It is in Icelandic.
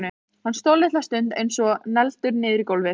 Hann stóð litla stund eins og negldur niður í gólfið.